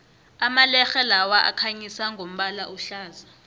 amalerhe lawa akhanyisa ngombala ohlaza